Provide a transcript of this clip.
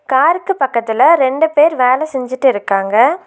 காருக்கு பக்கத்துல ரெண்டு பேர் வேல செஞ்சிட்டு இருக்காங்க.